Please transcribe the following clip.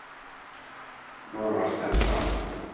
Norvald Steinsland